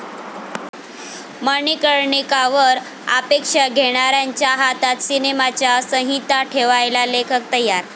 मणिकर्णिका'वर आक्षेप घेणाऱ्यांच्या हातात सिनेमाची संहिता ठेवायला लेखक तयार